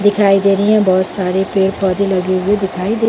दिखाई दे रहीं है बोहत सारे पेड़-पौधे लगे हुए दिखाई दे--